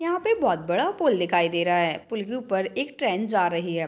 यहां पे बोहत बड़ा पुल दिखाई दे रहा है पूल के ऊपर एक ट्रैन जा रही है।